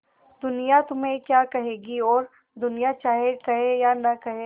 दुनिया तुम्हें क्या कहेगी और दुनिया चाहे कहे या न कहे